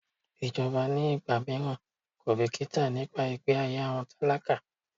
Ìjọba ní ìgbà míràn kò bìkítà nípa ìgbẹ́ ayé àwọn tálákà.